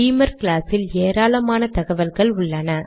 பீமர் class இல் ஏராளமான தகவல்கள் உள்ளன